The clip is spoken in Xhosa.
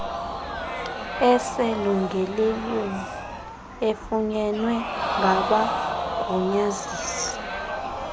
eselungelweni efunyenwe ngabagunyazisi